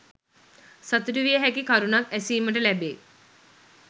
සතුටුවිය හැකි කරුණක් ඇසීමට ලැබේ.